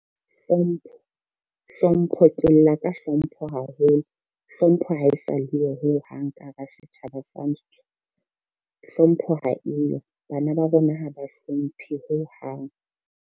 Hlompho e tswella ka hlompho haholo. Hlompho ha e sa le yo ho hang ka hara setjhaba sa rantsho. Hlompho ha eyo, bana ba rona ha ba hlomphe hohang.